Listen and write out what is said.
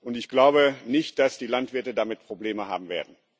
Und ich glaube nicht, dass die Landwirte damit Probleme haben werden.